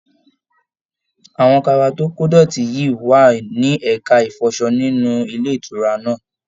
Àwọn kaba to kodọti yi wà ní ẹka ifọsọ nínú ilé ìtura náà.